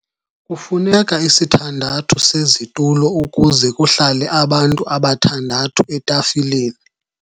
Kufuneka isithandathu sezitulo ukuze kuhlale abantu abathandathu etafileni.